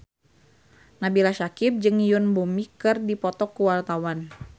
Nabila Syakieb jeung Yoon Bomi keur dipoto ku wartawan